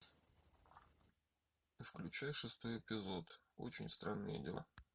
включай шестой эпизод очень странные дела